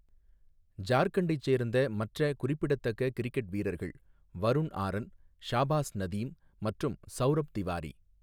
ஜார்க்கண்டைச் சேர்ந்த மற்ற குறிப்பிடத்தக்க கிரிக்கெட் வீரர்கள் வருண் ஆரன், ஷாபாஸ் நதீம், மற்றும் சவுரப் திவாரி.